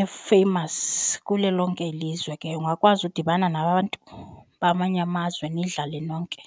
efeyimasi kulo lonke ilizwe ke. Ungakwazi udibana nabantu bamanye amazwe nidlale nonke.